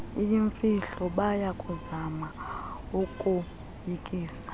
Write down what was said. iyimfihlo bayakuzama ukukoyikisa